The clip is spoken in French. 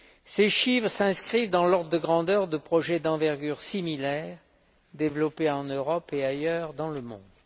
Ces chiffres s'inscrivent dans l'ordre de grandeur de projets d'envergure similaire développés en Europe et ailleurs dans le monde.